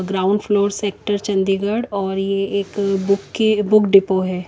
Ground floor sector Chandigarh और ये एक बूके-बुक डिपो है।